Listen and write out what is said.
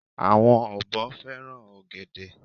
àwọn ọ̀bọ fẹràn ògèdè